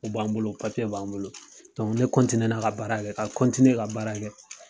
U b'an bolo b'an bolo, ne ka baara kɛ, ka ka baara kɛ